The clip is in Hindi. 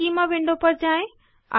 ईस्कीमा विंडो पर जाएँ